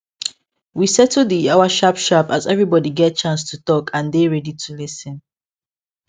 we settle the yawa sharp sharp as everybody get chance to talk and dey ready to lis ten